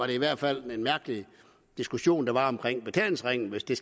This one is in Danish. i hvert fald en mærkelig diskussion der var omkring betalingsringen hvis det